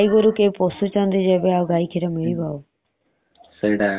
ଏବେ ଗାଈ ଗୋରୁ କିଏ ଆଉ ପୋଷୁଛନ୍ତି ଯେ ଗାଈ କ୍ଷୀର ମିଳିବ ଆଉ